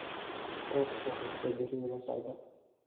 qaybta xigta berri ila socda